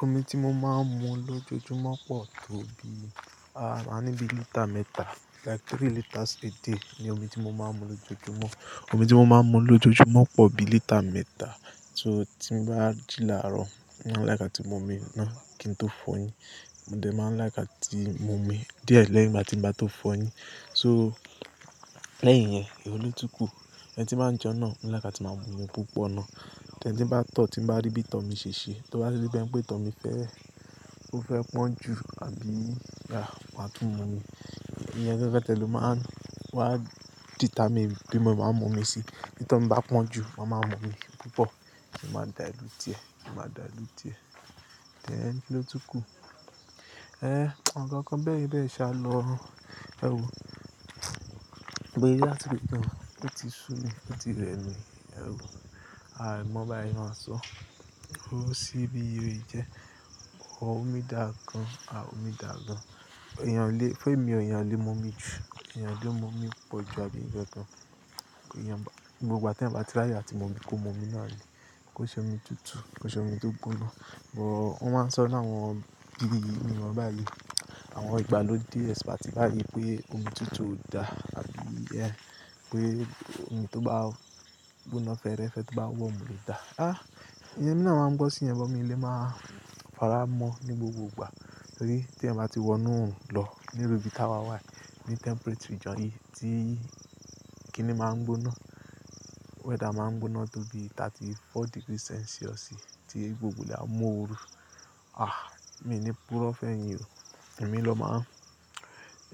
Omi tí mo máa ń mu lójoojúmọ́ pọ̀ tó bi, a máa ń ní bí lítà mẹ́ta, like three liters a day ni omi tí mo máa ń mu lójoojúmọ́. Omi tí mo máa ń mu lójoojúmọ́ pọ̀ bi lítà mẹ́ta. So tí n bá jí láró, mo máa ń like àtí mu omi ná, kí n tó fọ yín. Mo dẹ̀ máa ń like àtí mu omi díẹ̀ lẹ́yìn ìgbá ti ń bá tó fọ yín. So lẹ́yìn yẹn, èwo ló tún kù, ehn tí mba ń jẹun náà, mo like àti máa ń mu púpọ̀ náà. Tẹ́ń tí bá tọ̀ tí bá rí bí tọmí ṣe ṣe, tí ó bá rí bí ẹni pé tọmí fẹ́, ó fẹ́ pọ́n jù àbí yeah, máa tún mu omi. Ìyẹn gangan tí ẹ lo máa ń wá determine bí mo máa ń mu omi sí. Bí ìtomi bá pọ́n jù, ó máa ń mu omi púpọ̀, ó máa dilute e mo máa dilute e then kíni ó tún kù, eh, àwọn ǹkan ǹkan bẹ́ẹ̀ bẹ́ẹ̀yẹn ṣá lo, ẹwo gbé yàrá tó kàn, ó ti sú mi, ó ti rẹ mi, ẹwu. Aàì mọ bí a ṣe máa sọ. Ó ṣí bí oye jẹ́. Omi dàa gan, àh omi dàa gan. Ẹ̀yàn lè, fún èmi, ẹ̀yàn lè mu omi jù, ẹ̀yàn lè mu omi pọ̀ ju àbí ǹjẹ́ kan. Ẹ̀yàn ba, gbogbo ìgbà tí ẹ̀yin bá ti láyè àti mu omi kó mu omi náà le, kó ṣe omi tútù, kó ṣe omi tó gbóná. But wọ́n máa ń sọ ní àwọn bí i mi ọba yìí, àwọn ìgbàlódé especially bá yí pé omi tútù ò dà àbí ẹ pé omi tó bá gbóná fẹ́ẹ́rẹ́fẹ́ tó bá wọ́n mú lè dà. Ah, ìyẹn ni wọ́n máa ń gbọ́ sí yẹn, bọ́ mi lè máa fará mọ́ ní gbogbo ìgbà. Nítorí tí ẹ̀ máa ti wọnú hun lọ nírú bí táwa white, ní temperature jọ̀ọ́ yí tí kíni máa ń gbóná, weather máa ń gbóná tó bi thirty four degree Celsius tí gbogbo ilẹ̀ a mú òru. Ah, èmi ni púrọ̀ fẹ́ yín o. Èmi ló máa,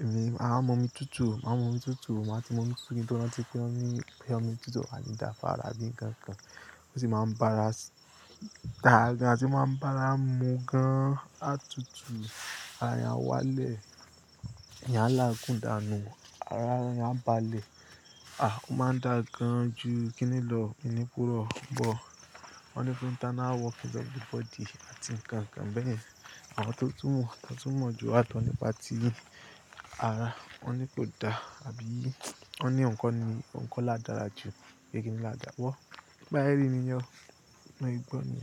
èmi máa mu omi tútù, máa mu omi tútù, máa ti mu omi tútù kí n tó rántí pé ń mu, pé ń mu omi tútù àti dà fara àbí nǹkan kan. Ó sì máa ń bá ara dà gan, sì máa ń bá ara mu gan, á tútù, ara ń yá wá lẹ̀, ìyàn lágùndà nu, ara ń bá le. Ah, ó máa ń dà gan ju kíni lọ, èmi púrọ̀. But wọ́n ní fún internal working of everybody àti nǹkan kan bẹ́ẹ̀ni. Àwọn tó túmọ̀, tó túmọ̀ jù àtọ̀ nípa ti ara, wọ́n ní kó dà àbí wọ́n ní ǹkan ni, ǹkan ládàrá ju bí kíni ládàá wọ́. Bá yẹrí ni ìyẹn, mo gbọ́ ni.